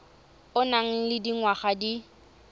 o nang le dingwaga di